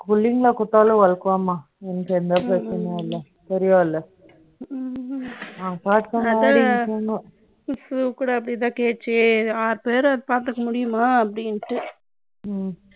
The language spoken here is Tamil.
எனக்கு பத்து cooling ல கொடுத்தாலும், work ஆகும்மா. எனக்கு எந்த பிரச்சனையும் இல்லை. பெரியவா இல்லை ஷூ கூட அப்படித்தான் கேட்டுச்சு, ஆறு பேரை பார்த்துக்க முடியுமா அப்படின்ட்டு